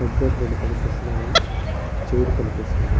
Computer లు రెండు కనిపిస్తున్నాయి. చైర్ కనిపిస్తుంది.